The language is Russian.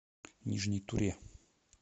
нижней туре